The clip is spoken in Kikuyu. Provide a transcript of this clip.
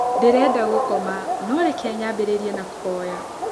Ndĩrenda gũkoma no reke nyambĩrĩrie na kũhoya